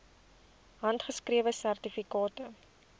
handgeskrewe sertifikate